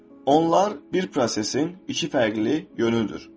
Onlar bir prosesin iki fərqli yönüdür.